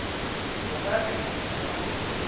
o ka re o duma